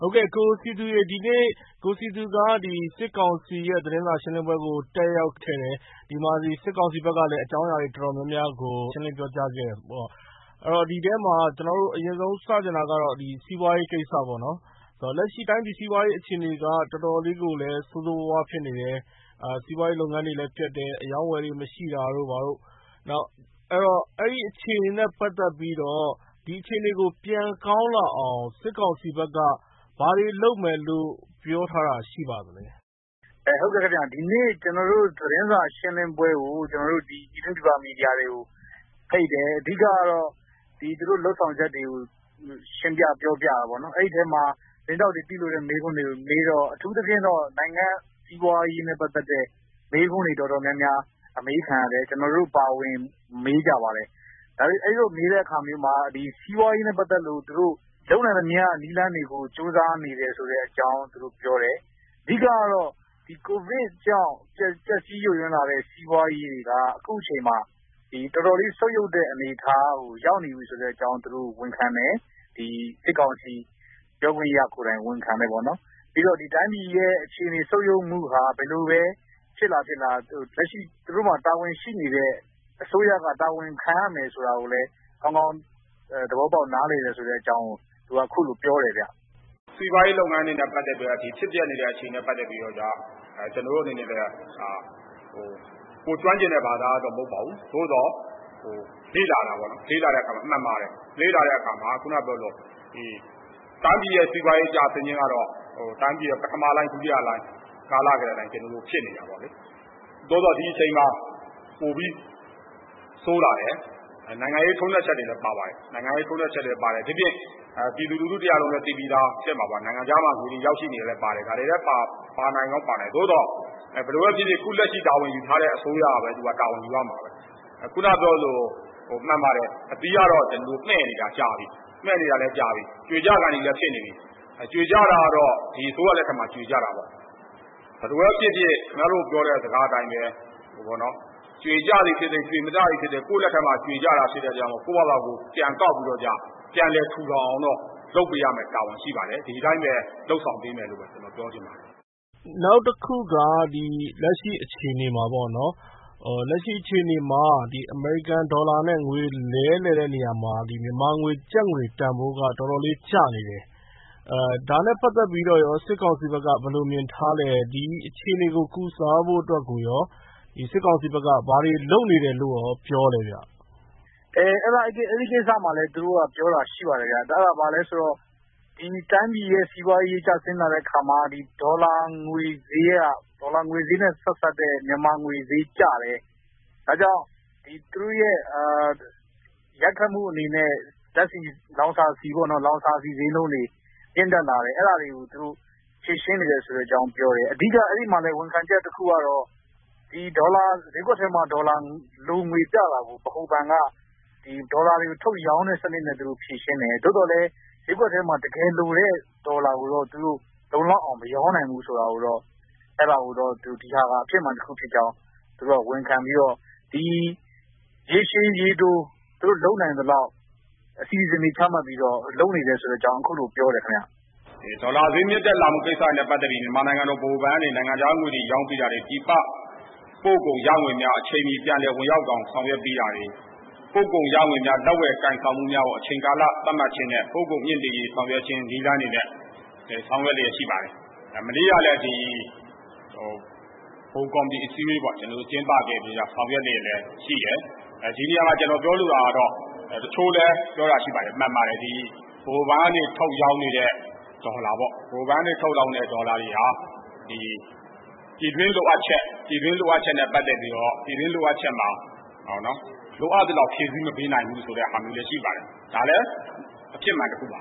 ဟုတ်ကဲ့။ ကိုစည်သူ၊ ဒီနေ့ ကိုစည်သူက စစ်ကောင်စီရဲ့သတင်းစာရှင်းလင်းပွဲကို တက်ရောက်ခဲ့တယ်၊ စစ်ကောင်စီဘက်ကလည်း အကြောင်းအရာတွေ တော်တော်များများကို ရှင်းလင်းပြောကြားခဲ့တယ်ဆိုောတ့ ဒီထဲမှာ ကျနော်တို့ အရင်ဆုံးစမေးချင်တာကတော့ စီးပွါးရေးကိစ္စပေါ့နော်။ တော်တော်လေးကိုလည်း ဆိုးဆိုးဝါးဝါးဖြစ်နေတယ်။ စီးပါွးရေးလုပ်ငန်းတွေလည်း ပျက်တယ်။ အရောင်းအဝယ်တွေ မရှိတာတို့၊ ဘာတို့ အဲဒီအခြေအနေတွေနဲ့ပတ်သက်ပြီးတော့ ဒီအခြေအနေကို ပြန်ကောင်းလာအောင် စစ်ကောင်စီဘက်က ဘာတွေလုပ်မယ်လို့ ပြောထားတာရှိပါသလဲ။ ကိုစည်သူ။ ။ ဟုတ်ကဲ့ခင်ဗျ။ ဒီနေ့ သတင်းစာရှင်းလင်းပွဲကို ပြည်တွင်းပြည်ပမီဒီယာတွေကို ဖိတ်တယ်။ အဓိက ကတော့ သူတို့လုပ်ဆောင်ချက်တွေကို ရှင်းပြ၊ ပြောပြတာပေါ့နော်။ အဲဒီထဲမှာ သတင်းထောက်တွေ သိလိုတဲ့မေးခွန်းတွေကို မေးတော့ အထူးသဖြင့်တော့ စီးပွါးရေးနဲ့ပတ်သက်တဲ့ မေးခွန်းတွေ တော်တော်များများ အမေးခံရတယ်။ ကျနော်တို့အပါအဝင် မေးကြပါတယ်။ အဲလိုမေးတဲ့အခါမျိုးမှာ စီးပွါးရေးနဲ့ပတ်သက်လု့ိ သူတို့ လုပ်နိုင်သမျှ နည်းလမ်းတွေကို ကြိုးစားနေတယ်ဆိုတဲ့အကြောင်း သူတို့ ပြောတယ်။...အဓိက ကတော့ ကိုဗစ်ကြောင့် ပျက်စီးယိုယွင်းလာတဲ့စီးပွါးရေးတွေက အခုအချိန်မှာ တော်တော်လေး ဆုတ်ယုတ်တဲ့အနေအထားကို ရောက်နေပြီဆိုတဲ့အကြောင်း သူတို့ ဝန်ခံတယ်။ စစ်ကောင်စီပြောခွင့်ရကိုယ်တိုင် ဝန်ခံတယ်ပေါ့နော်။ ပြီးတော့ တိုင်းပြည်ရဲ့အခြေအနေဆုတ်ယုတ်မှုဟာ ဘယ်လိုပဲ ဖြစ်လာ ဖြစ်လာ၊ လက်ရှိ တာဝန်ရှိနေတဲ့ အစိုးရက တာဝန်ခံရမယ်ဆိုတာကိုလည်း ကောင်းကောင်း သဘောပေါက်နားလည်တယ်ဆိုတဲ့အကြောင်းကို သူက အခုလို ပြောတယ်ဗျ။ “စီးပွါးရေးလုပ်ငန်းတွေနဲ့ပတ်သက်ပြီးတော့ ဖြစ်ပျက်နေတဲ့အခြေအနေတွေနဲ့ပတ်သက်ပြီးတော့ကျတော့ ကိုယ်ကျွမ်းကျင်တဲ့ဘာသာရပ်တော့ မဟုတ်ပါဘူး။ သို့သော်...လေ့လာတာပေါ့နော်။ လေ့လာတဲ့အခါမှာ မှန်ပါတယ်။ အခုနကပြောသလို တိုင်းပြည်ရဲ့စီးပွါးရေးကျဆင်းခြင်းကတော့ တိုင်းပြည်ရဲ့ ပထမလှိုင်း၊ ဒုတိယလှိုင်းကာလကတည်းက ဖြစ်နေတာပေါ့လေ။ သို့သော် ဒီအချိန်မှာ ပိုပြီး ဆိုးလာတယ်။ နိုင်ငံရေး ထိုးနှက်ချက်တွေလည်း ပါပါတယ်။ နိုင်ငံရေးထိုးနှက်ချက်လည်းပါတယ်။ဒိပြင် ပြည်သူလူထုတရပ်လုံးလည်း သိပြီးသားဖြစ်မှာပါ။ နိုင်ငံခြားမှာ ငွေတွေရောက်ရှိနေတာလည်း ပါတယ်။ ဒါတွေလည်း ပါနိုင်ကောင်း ပါနိုင်တယ်။ သို့သော် ဘယ်လိုပဲဖြစ်ဖြစ် အခု လက်ရှိတာဝန်ယူထားတဲ့ အစိုးရကပဲ တာဝန်ယူရမှာပဲ။...အခုနကပြောသလို မှန်ပါတယ်။ အဓိက ကတော့ ကျနော်တို့မှည့်နေတာကြာပြီ။ မှည့်နေတာလည်းကြာပြီ။ ကြွေကျခါနီးလည်းဖြစ်နေပြီ။ ကြွေကျတာကတော့ ဒီအစိုးရလက်ထက်မှာ ကြွေကျတာပေါ့လေ။..ဘယ်လိုပဲဖြစ်ဖြစ် ခင်ဗျားတို့ပြောတဲ့စကားအတိုင်းပဲ။ ကြွေကျသည်ဖြစ်စေ၊ ကြွေမကျသည်ဖြစ်စေ၊ ကိုယ့်လက်ထဲမှာကြွေကျတာဖြစ်တဲ့အတွက်ကြောင့် ကိုယ့်ဖာသာကိုယ် ပြန်ကောက်ပြီးတော့ ပြန်လည်ထူထောင်အောင်တော့ လုပ်ပေးရမယ့်တာဝန်ရှိပါတယ်။ ဒီအတိုင်းပဲ လုပ်ဆောင်ပေးမယ်လို့ ကျနော် ပြောချင်ပါတယ်။” ကိုရန်နိုင်။ ။ နောက်တခုက လက်ရှိအခြေအနေမှာပေါ့နော်-အမေရိကန်ဒေါ်လာနဲ့ ငွေလဲလှယ်တဲ့နေရာမှာ မြန်မာကျပ်ငွေတန်ဖိုးက တော်တော်လေး ကျနေတယ်။ ဒါနဲ့ပတ်သက်ပြီးတော့ရော စစ်ကောင်စီဘက်က ဘယ်လိုမြင်ထားမယ်၊ ဒီအခြေအနေကို ကုစားဖို့ကိုရော စစ်ကောင်စီဘက်က ဘာတွေလုပ်နေတယ်လို့ရော ပြောလဲဗျ။” ကိုစည်သူ။ ။ အဲဒီကိစ္စမှာလည်း သူတို့ပြောတာရှိပါတယ်ဗျ။ အဲဒါ ဘာလဲဆိုတော့ တိုင်းပြည်ရဲ့စီးပွါးရေး ကျဆင်းလာတဲ့အခါမှာ ဒေါ်လာငွေဈေးနဲ့ဆက်စပ်တဲ့ မြန်မာငွေဈေးကျတယ်။ ဒါကြောင့် ရိုက်ခတ်မှုအနေနဲ့ လောင်စာဆီဈေးနှုန်းတွေ မြင့်တက်လာတယ်။ အဲဒါတွေကို သူတို့ ဖြေရှင်းနေတယ်ဆိုတဲ့အကြောင်းပြောတယ်။ အဓိကက အဲဒီမှာလည်း ဝန်ခံချက်တခုက ဈေးကွက်ထဲမှာ ဒေါ်လာ လိုငွေပြတာကို ဗဟိုဘဏ်က ဒေါ်လာ တွေကို ထုတ်ရောင်းတဲ့စနစ်နဲ့ဖြေရှင်းတယ်။ သို့သော် ဈေးကွက်ထဲမှာ တကယ်လိုတဲ့ဒေါ်လာကိုတော့ သူတို့ လုံလောက်အောင် မရောင်းနိုင်ဘူးဆိုတာကိုတော့ ဒီဟာ-ဟာ အဖြစ်မှန်တခုဖြစ်ကြောင်း ဝန်ခံပြီး ရေရှည်၊ ရေတို သူတို့လုပ်နိုင်သလောက် အစီအစဉ်တွေချမှတ်ပြီး လုပ်နေတယ်ဆိုတာကို အခုလို ပြောတယ်ခင်ဗျ။ “ဒေါ်လာဈေးမြင့်တက်လာတာနဲ့ပတ်သက်ပြီး နိုင်ငံတော်ဗဟိုဘဏ်ကနေပြီး နိုင်ငံခြားငွေရောင်းပေးတာတွေ၊ ပြည်ပပို့ကုန် ရငွေများ အချိန်မီ ပြန်လည်ဝင်ရောက်အောင် ဆောင်ရွက်ပေးတာတွေ။ ပို့ကုန်ရငွေများ လက်ဝယ်ကိုင်ဆောင်မှုများကို အချိန်ကာလသတ်မှတ်ခြင်းနဲ့ ပို့ကုန်မြှင့်တင်ရေး ဆောင်ရွက်ခြင်းနည်းလမ်းတွေနဲ့ ဆောင်ရွက်လျှက်ရှိပါတယ်။ မနေ့ကလည်း ဗဟိုကော်မတီအစည်းအဝေးပေါ့-ကျင်းပခဲ့ပြီး ဆောင်ရွက်လျှက်လည်းရှိတယ်။...ဒီနေရာမှာ ကျနော်ပြောလိုတာကတော့ တချို့လည်း ပြောတာရှိပါတယ်။ မှန်ပါတယ်။ ဒီ ဗဟိုဘဏ်ကနေ ထုတ်ရောင်းနေတဲ့ ဒေါ်လာတွေဟာ ပြည်တွင်းလိုအပ်ချက်တွေနဲ့ပတ်သက်ပြီးတော့ ပြည်တွင်းလိုအပ်ချက်မှာ လိုအပ်သလောက် ဖြည့်ဆီးမပေးနိုင်ဘူးဆိုတာလည်း ရှိပါတယ်။ ဒါလည်း အဖြစ်မှန်တခုပါ